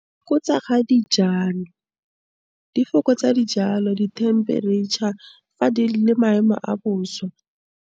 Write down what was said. Ko tsa ga dijalo, di fokotsa dijalo, dithemperetšha, maemo a bosa.